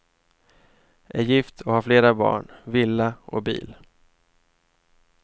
Är gift och har flera barn, villa och bil.